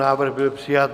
Návrh byl přijat.